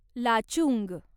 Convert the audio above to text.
Lachung